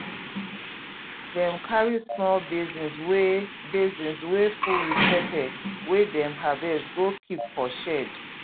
dem carry small basins wey basins wey full with pepper wey dem harvest go keep for shed